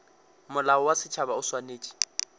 molao wa setšhaba o swanetše